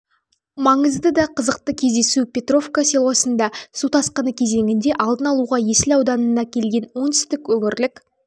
маңызды да қызықты кездесу петровка селосында су тасқыны кезеңінде алдын алуға есіл ауданына келген оңтүстік өңірлік